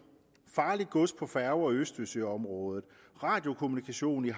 farligt gods på færger i østersøområdet radiokommunikation i